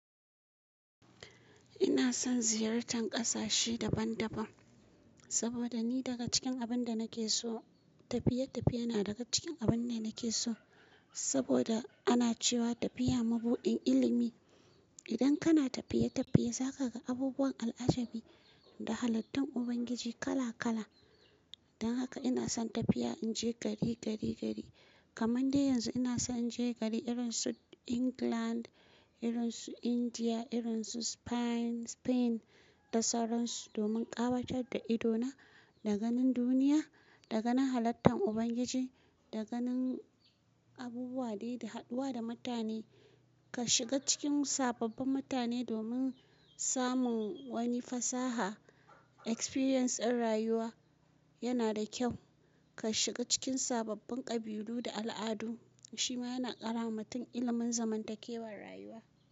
Ina son ziyartar ƙasashe daban-daban saboda ni daga cikin abin da nake so, tafiye-tafiye na daga cikin abun ne nake so. Saboda ana cewa tafiya mabuɗin ilimi. Idan kana tafiye-tafiye, za ka ga abubuwan al'ajabi da halittun Ubangiji kala-kala. Dan haka ina son tafiya, in je gari, gari, gari. Kaman dai yanzu ina son in je gari irin su England, irin su India, irin su Spain, Spain da sauran su domin ƙawatar da idona da ganin duniya, da ganin halittan Ubangiji, da ganin abubuwa dai da haɗuwa da mutane. Ka shiga cikin sababbin mutane domin samun wani fasaha, experience ɗin rayuwa yana da kyau. Ka shiga cikin sababbin ƙabilu da al'adu shima yana ƙarama mutum ilimin zamantakewar rayuwa.